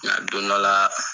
Ŋa don dɔ la